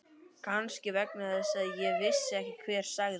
Kannski vegna þess að ég vissi ekki hver sagði.